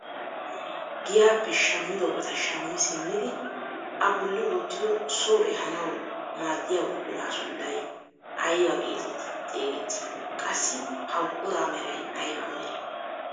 Giyaappe shammiyoobata shammi simmidi a bolli wottidi soo eehanawu maaddiyaa buquraa sunttay ayba getetti xeegettii? Qassi ha buquraa meray ayba meree?